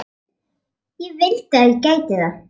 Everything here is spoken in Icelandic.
En ég vildi að ég gæti það.